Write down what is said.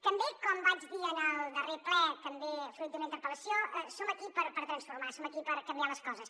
també com vaig dir en el darrer ple també fruit d’una interpel·lació som aquí per transformar som aquí per canviar les coses